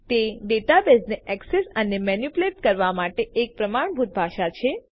તે ડેટાબેઝને એક્સેસ અને મેનીપ્યુલેટ કરવાં માટે એક પ્રમાણભૂત ભાષા છે